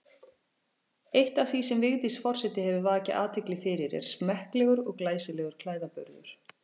Eitt af því sem Vigdís forseti hefur vakið athygli fyrir er smekklegur og glæsilegur klæðaburður.